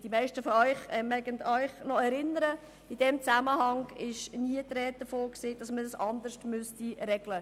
Die meisten von Ihnen mögen sich daran erinnern, dass in diesem Zusammenhang nie die Rede davon war, es anders regeln zu müssen.